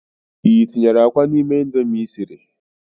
i tinyere akwa n'ime Indomie i siri s?